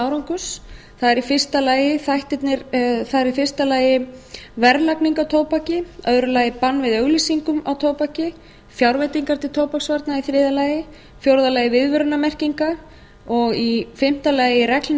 árangurs það er í fyrsta lagi verðlagning á tóbaki í öðru lagi bann við auglýsingum á tóbaki fjárveitingar til tóbaksvarna í þriðja lagi í fjórða lagi viðvörunarmerkingar og í fimmta lagi reglur um